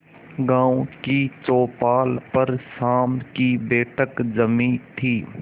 गांव की चौपाल पर शाम की बैठक जमी थी